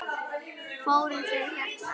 Fóruð þið hérna?